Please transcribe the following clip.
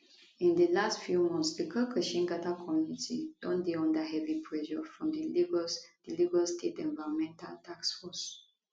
in di last few months di karkashin gada community don dey under heavy pressure from di lagos di lagos state environmental task force